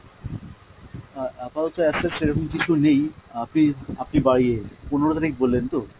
আহ আপাতত as such সেরকম কিছু নেই, আপনি আপনি বা ইয়ে পনেরো তারিখ বললেন তো?